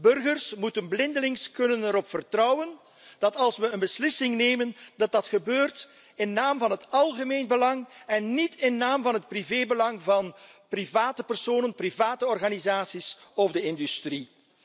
Burgers moeten er blindelings op kunnen vertrouwen dat als we een beslissing nemen, dit gebeurt in naam van het algemeen belang en niet in naam van het privébelang van private personen, private organisaties of de industrie.